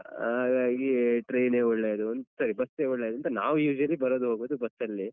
ಹಾಗಾಗಿ train ಒಳ್ಳೆದು sorry bus ಒಳ್ಳೆದು ಅಂತ ನಾವು usually ಬರೋದು ಹೋಗುದು bus ಅಲ್ಲೇ.